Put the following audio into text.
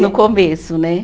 No começo, né?